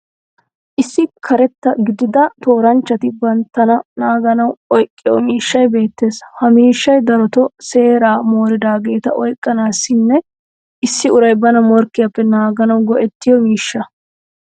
Issi karetta gidida tooranchchati banttana naaganawu oyqqiyo miishshay beettees. Ha miishshay darotoo seera mooridaageeta oyqqanaassinne issi uray bana morkkiyappe naaganawu go'ettiyo miishsha.